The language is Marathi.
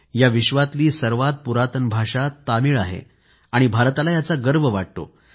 या विश्वातली सर्वात पुरातन भाषा तमिळ आहे भारताला याचा अभिमान वाटतो